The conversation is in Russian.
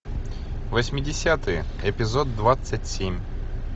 восьмидесятые эпизод двадцать семь